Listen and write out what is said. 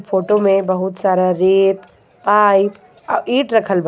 Photo में बहुत सारा रेत पाइप आ ईट रखल बा.